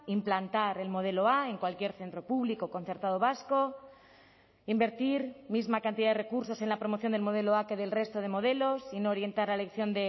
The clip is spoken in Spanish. implantar el modelo a en cualquier centro público concertado vasco invertir misma cantidad de recursos en la promoción del modelo a que del resto de modelos sin orientar la elección